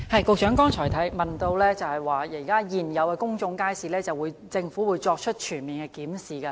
局長剛才提到，對於現有的公眾街市，政府會作出全面檢視。